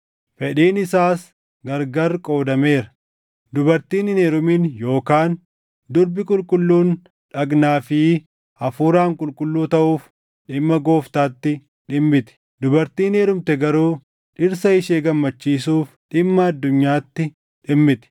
fedhiin isaas gargar qoodameera. Dubartiin hin heerumin yookaan durbi qulqulluun dhagnaa fi hafuuraan qulqulluu taʼuuf dhimma Gooftaatti dhimmiti. Dubartiin heerumte garuu dhirsa ishee gammachiisuuf dhimma addunyaatti dhimmiti.